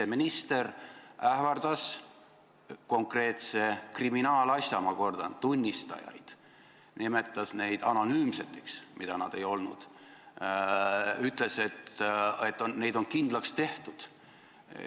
Siseminister ähvardas konkreetse kriminaalasja, ma kordan, tunnistajaid, nimetas neid anonüümseks, mida nad ei olnud, ütles, et nad on kindlaks tehtud.